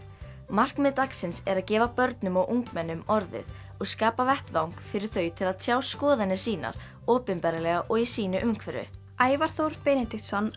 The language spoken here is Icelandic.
markmið dagsins er að gefa börnum og ungmennum orðið og skapa vettvang fyrir þau til að tjá skoðanir sínar opinberlega og í sínu umhverfi Ævar Þór Benediktsson